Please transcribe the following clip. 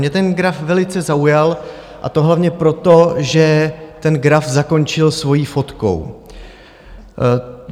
Mě ten graf velice zaujal, a to hlavně proto, že ten graf zakončil svou fotkou.